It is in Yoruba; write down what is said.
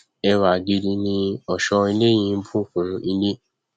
ẹwà gidi ni ọṣọ ilẹ yí nbù kún ilé